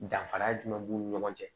Danfara jumɛn b'u ni ɲɔgɔn cɛ